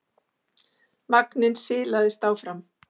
Vagninn silaðist áfram.